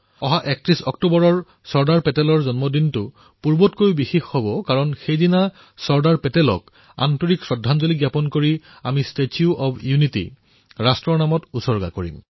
এই ৩১ অক্টোবৰত চৰ্দাৰ পেটেলৰ জয়ন্তী আৰু অধিক বিশেষ ৰূপত পালন কৰা হব সেইদিনা চৰ্দাৰ পেটেলক প্ৰকৃত শ্ৰদ্ধাঞ্জলী জ্ঞাপন কৰি আমি ষ্টেচু অব্ ইউনিটী ৰাষ্ট্ৰলৈ সমৰ্পিত কৰিম